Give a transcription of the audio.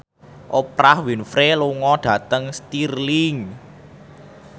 Oprah Winfrey lunga dhateng Stirling